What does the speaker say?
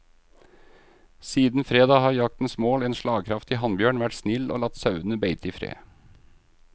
Siden fredag har jaktens mål, en slagkraftig hannbjørn, vært snill og latt sauene beite i fred.